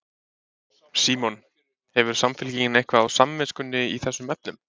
Símon: Hefur Samfylkingin eitthvað á samviskunni í þessum efnum?